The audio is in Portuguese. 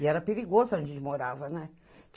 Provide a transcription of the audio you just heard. E era perigoso onde a gente morava, né?